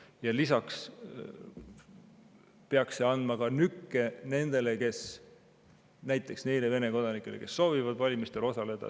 Ja lisaks peaks see andma nükke neile Vene kodanikele, kes soovivad valimistel osaleda.